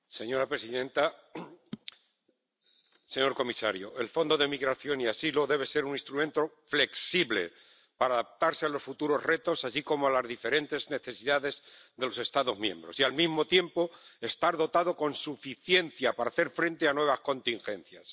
Señora presidenta, señor comisario, el Fondo de Asilo y Migración debe ser un instrumento flexible para adaptarse a los futuros retos, así como a las diferentes necesidades de los Estados miembros, y, al mismo tiempo, estar dotado con suficiencia para hacer frente a nuevas contingencias.